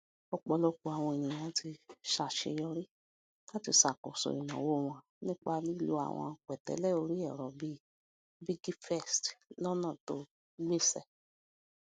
ọpọlọpọ àwọn ènìyàn ti ṣàṣeyọrí láti ṣakoso ìnáwó wọn nípa lílo àwọn pẹtẹlẹ orí ẹrọ bíi piggyvest lónà tó gbéṣẹ